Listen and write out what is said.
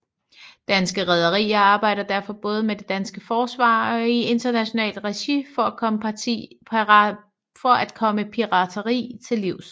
Danske Rederier arbejder derfor både med det danske forsvar og i internationalt regi for at komme pirateri til livs